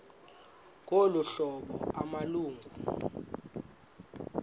ngolu hlobo amalungu